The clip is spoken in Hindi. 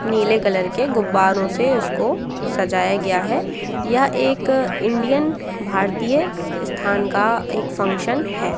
नीले कलर के गुब्बारों से इसको सजाया गया है यह एक इंडियन भारतीय स्थान का एक फंक्शन है।